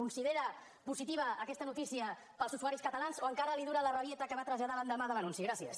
considera positiva aquesta noticia per als usuaris catalans o encara li dura la rabieta que va traslladar l’endemà de l’anunci gràcies